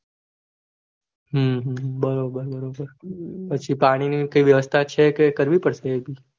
હમ હમ બરોબર પાણી ની વ્યવસ્થા છે કે કરવી પડશે એ ભી